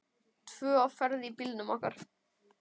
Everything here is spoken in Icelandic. Tvö á ferð í bílnum okkar.